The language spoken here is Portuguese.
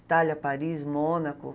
Itália, Paris, Mônaco.